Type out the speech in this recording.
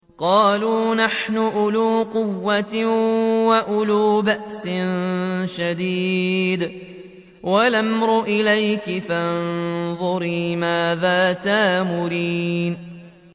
قَالُوا نَحْنُ أُولُو قُوَّةٍ وَأُولُو بَأْسٍ شَدِيدٍ وَالْأَمْرُ إِلَيْكِ فَانظُرِي مَاذَا تَأْمُرِينَ